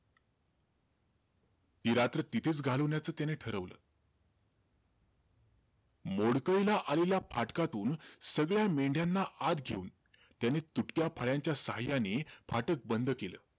ती रात्र तिथेचं घालवण्याचं त्याने ठरवलं. मोडकळीला आलेल्या फाटकातून, सगळ्या मेंढ्याना आत घेऊन, त्याने तुटक्या फळ्यांच्या साहाय्याने फाटक बंद केलं.